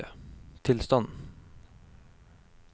tilstand